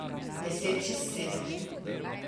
Deset čez sedem.